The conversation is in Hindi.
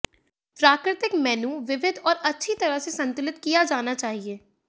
प्राकृतिक मेनू विविध और अच्छी तरह से संतुलित किया जाना चाहिए